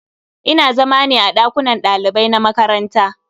Ina zama ne a ɗakunan ɗalibai na makaranta.